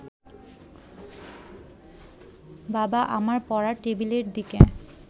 বাবা আমার পড়ার টেবিলের দিকে